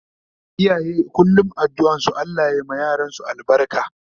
Iyaye kullum addu'an su Allah ya ma yaransu albarka